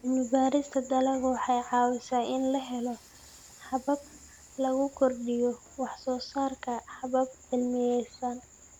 Cilmi-baarista dalaggu waxay caawisaa in la helo habab lagu kordhiyo wax-soo-saarka habab cilmiyaysan.